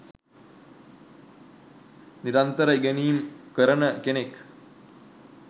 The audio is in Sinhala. නිරන්තර ඉගෙනීම් කරන කෙනෙක්.